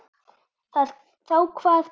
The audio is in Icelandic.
Þá kvað Bragi